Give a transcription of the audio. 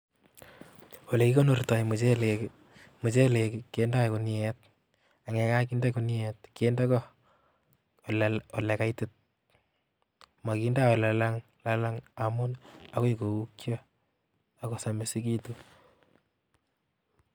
olekikonortoi muchelek muchelek kendoi guniet angyekakinde guniet kinde go ole kaitit makindoi ole lalang amu agoi koukyo akosamisikitu